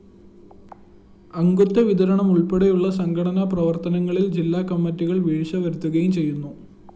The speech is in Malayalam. അംഗത്വവിതരണമുള്‍പ്പെടെയുള്ള സംഘടനാ പ്രവര്‍ത്തനങ്ങളില്‍ ജില്ലാകമ്മിറ്റികള്‍ വീഴ്ച വരുത്തുകയും ചെയ്യുന്നു